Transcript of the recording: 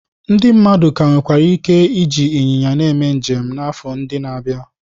Ndị mmadụ ka nwere ike iji ịnyịnya na-eme njem n'afọ ndị na-abịa.